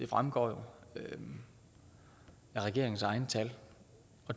fremgår af regeringens egne tal